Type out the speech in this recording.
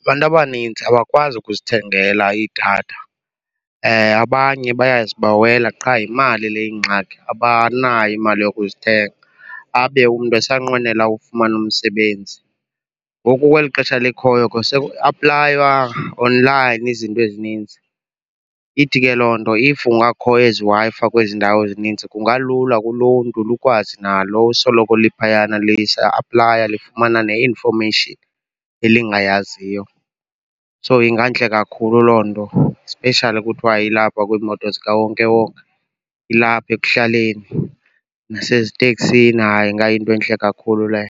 abantu abaninzi abakwazi ukuzithengela idatha. Abanye bayazibawela qha yimali le iyingxaki, abanayo imali yokuzithenga abe umntu esanqwenela ukufumana umsebenzi. Ngoku kweli xesha likhoyo ke sekuaplaywa online izinto ezininzi, ithi ke loo nto if kungakho eziWi-Fi kwezi ndawo zininzi kungalula kuluntu lukwazi nalo usoloko liphayana aplaya lifumana ne-information elingayaziyo. So ingantle kakhulu loo nto especially kuthwa ilapha kwiimoto zikawonkewonke, ilapha ekuhlaleni naseziteksini, hayi ingayinto entle kakhulu leyo.